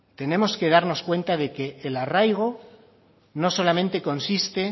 tenemos que darnos cuenta de que el arraigo no solamente consiste